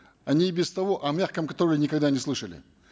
они и без того о мягком контроле никогда не слышали